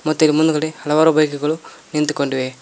ಮತ್ತೆ ಇಲ್ ಮುಂದ್ಗಡೆ ಹಲವಾರು ಬೈಕುಗಳು ನಿಂತುಕೊಂಡಿವೆ.